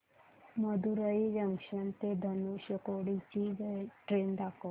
Madurai junction ते धनुषकोडी ची train दाखव